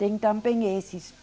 Tem também esses.